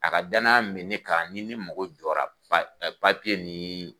A ka danaya min be kan ni ni mago jɔra pa papiye nii